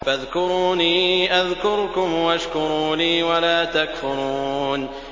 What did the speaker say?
فَاذْكُرُونِي أَذْكُرْكُمْ وَاشْكُرُوا لِي وَلَا تَكْفُرُونِ